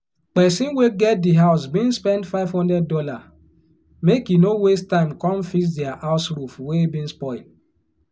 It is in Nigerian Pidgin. pesin wey get di house bin spend five hundred dollars make e no waste time come fix dia house roof wey bin spoil